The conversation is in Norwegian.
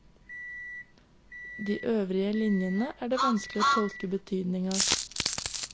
De øvrige linjene er det vanskelig å tolke betydningen av.